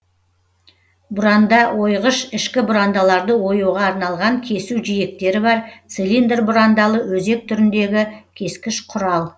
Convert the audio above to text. бұранда ойғыш ішкі бұрандаларды оюға арналған кесу жиектері бар цилиндр бұрандалы өзек түріндегі кескіш құрал